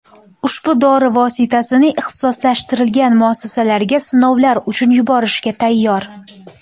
Ushbu dori vositasini ixtisoslashtirilgan muassasalarga sinovlar uchun yuborishga tayyor.